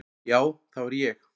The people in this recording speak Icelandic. Já, það var ég.